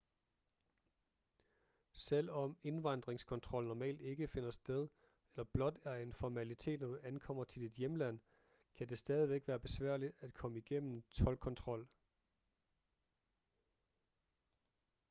selvom indvandringskontrol normalt ikke finder sted eller blot er en formalitet når du ankommer til dit hjemland kan det stadigvæk være besværligt at komme gennem toldkontrol